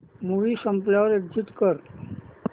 movie संपल्यावर exit कर